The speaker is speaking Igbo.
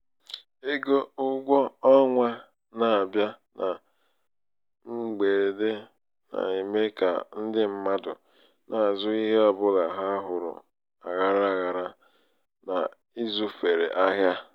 ego ụgwọ ọnwa na-abịa na mgberede na-eme ka ndị mmadụ na-azụ ihe ọ bụla ha hụrụ aghara aghara na ịzụfere ahịa.